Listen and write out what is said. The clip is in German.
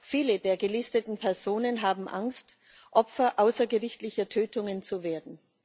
Viele der gelisteten Personen haben Angst, Opfer außergerichtlicher Tötungen zu werden.